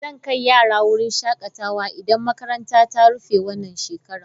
Zan kai yaran wurin shakatawa idan makaranta ta rufe wannan shekara.